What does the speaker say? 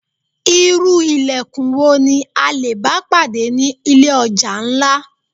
Irú ìlẹ̀kùn wo ni a lè bá pàdé ni ilé ọjà ńlá?